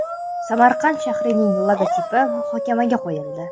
Samarqand shahrining logotipi muhokamaga qo‘yildi .